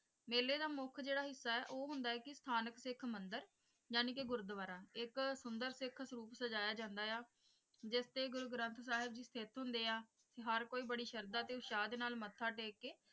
ਮੇਲੇ ਦਾ ਮੁੱਖ ਜਿਹੜਾ ਹਿੱਸਾ ਹੈ ਉਹ ਹੁੰਦਾ ਹੈ ਕਿ ਸਥਾਨਿਕ ਸਿੱਖ ਮੰਦਿਰ ਯਾਨੀ ਕਿ ਗੁਰੂਦੁਆਰਾ ਇੱਕ ਸੁੰਦਰ ਸਿੱਖ ਸਰੂਪ ਸਜਾਇਆ ਜਾਂਦਾ ਹੈ ਜਿਸਤੇ ਗੁਰੂ ਗਰੰਥ ਸਾਹਿਬ ਜੀ ਸਥਿਤ ਹੁੰਦੇ ਹੈ ਤੇ ਹਰ ਕੋਈ ਬੜੀ ਸ਼ਰਧਾ ਤੇ ਉਤਸ਼ਾਹ ਦੇ ਨਾਲ ਮੱਥਾ ਟੇਕ ਕੇ,